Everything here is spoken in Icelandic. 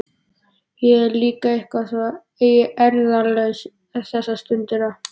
Ég er líka eitthvað svo eirðarlaus þessa stundina.